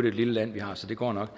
et lille land vi har så det går nok